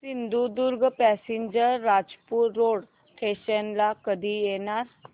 Sindhudurg passenger Rajapur road station ला कधी येणार